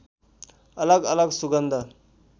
अलग अलग सुगन्ध